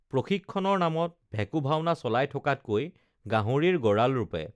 প্ৰশিক্ষণৰ নামত ভেকোঁভাওনা চলাই থকাতকৈ গাহৰিৰ গঁৰাল ৰূপে